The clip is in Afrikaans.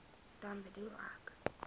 dan bedoel ek